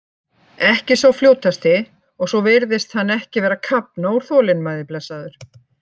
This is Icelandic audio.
Ekki sá fljótasti og svo virðist hann ekki vera að kafna úr þolinmæði blessaður.